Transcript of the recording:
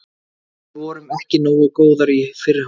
Við vorum ekki nógu góðar í fyrri hálfleik.